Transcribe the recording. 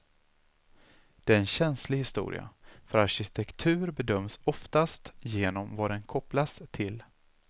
Det är en känslig historia, för arkitektur bedöms oftast genom vad den kopplas till.